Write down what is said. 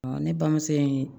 ne bamuso in